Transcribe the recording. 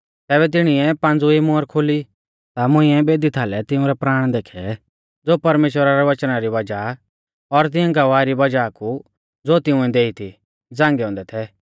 ज़ैबै तिणीऐ पांज़वी मुहर खोली ता मुंइऐ बेदी थालै तिंउरै प्राण देखै ज़ो परमेश्‍वरा रै वचना री वज़ाह और तिऐं गवाही री वज़ाह कु ज़ो तिंउऐ देई थी झ़ांगै औन्दै थै